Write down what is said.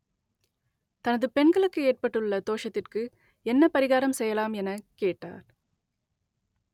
தனது பெண்களுக்கு ஏற்பட்டுள்ள தோஷத்திற்கு என்ன பரிகாரம் செய்யலாம் எனக் கேட்டார்